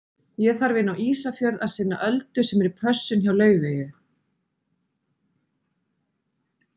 Ég þarf inn á Ísafjörð að sinna Öldu sem er í pössun hjá Laufeyju.